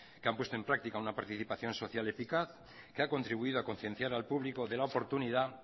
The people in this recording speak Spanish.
que han puesto en práctica una participación social eficaz que ha contribuido a concienciar al público de la oportunidad